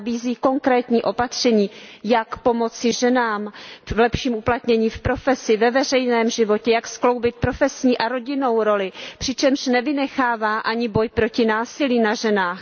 Nabízí konkrétní opatření, jak pomoci ženám v lepším uplatnění v profesi, ve veřejném životě, jak skloubit profesní a rodinnou roli, přičemž nevynechává ani boj proti násilí na ženách.